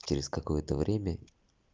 через какое-то время